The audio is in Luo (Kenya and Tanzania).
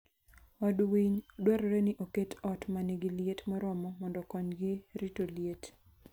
Od winy dwarore ni oket ot ma nigi liet moromo mondo okonygi rito liet.